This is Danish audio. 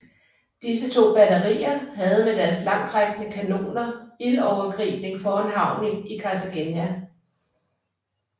Disse to batterier havde med deres langtrækkende kanoner ildovergribning foran havnen i Cartagena